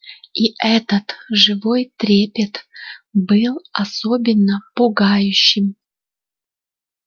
и этот живой трепет был особенно пугающим